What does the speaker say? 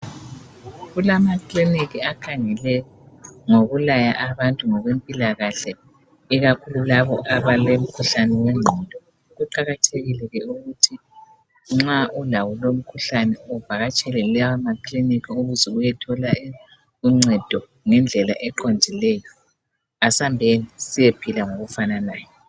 Kulama kiliniki akhangele ngokulaya abantu ngokwempilakahle ikakhulu labo abalo mkhuhlane wengqondo, kuqakathekile ke ukuthi nxa ulawo lowu mkhuhlane uvakatshele lawa makiliniki ukuze uyethola uncedo ngendlela eqondileyo, asambeni siyephila ngokufananayo.